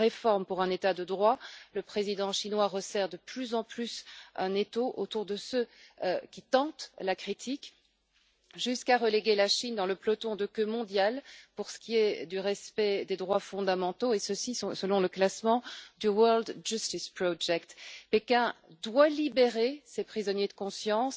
d'une réforme pour un État de droit, le président chinois resserre de plus en plus l'étau autour de ceux qui tentent la critique, jusqu'à reléguer la Chine dans le peloton de queue mondial pour ce qui est du respect des droits fondamentaux et ceci, selon le classement du World Justice Project. Pékin doit libérer ces prisonniers de conscience.